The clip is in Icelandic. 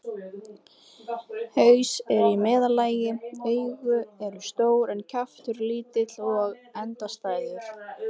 Haus er í meðallagi, augu eru stór en kjaftur lítill og endastæður.